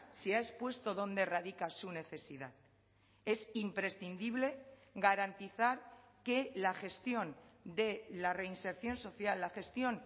se ha expuesto dónde radica su necesidad es imprescindible garantizar que la gestión de la reinserción social la gestión